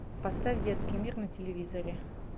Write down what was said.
поставь детский мир на телевизоре